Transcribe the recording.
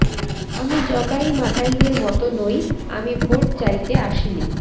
আমি জগাই মাধাইদের মতো নই আমি ভোট চাইতে আসিনি